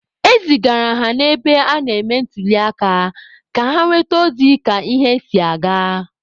E zigara ha n'ebe a na-eme ntuliaka ka ha nweta ozi ka ihe si aga.